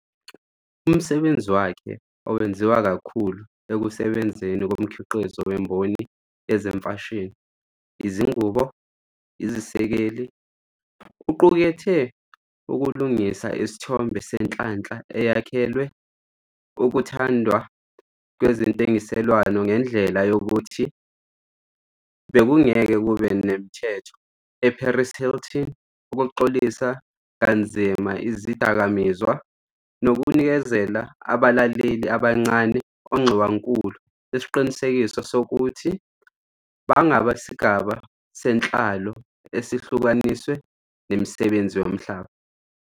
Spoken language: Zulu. Umsebenzi wakhe, owenziwa kakhulu ekusebenzeni komkhiqizo wemboni yezemfashini, izingubo, izesekeli, uqukethe ukulungisa isithombe senhlanhla eyakhelwe ukuthandwa kwezentengiselwano ngendlela yokuthi bekungeke kube nemithetho, eParis Hilton, ukuxolisa kanzima Izidakamizwa, nokunikeza abalaleli abancane onxiwankulu isiqinisekiso sokuthi bangabesigaba senhlalo esihlukaniswe nemisebenzi yomhlaba.